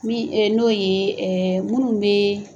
Min n'o ye minnu bɛ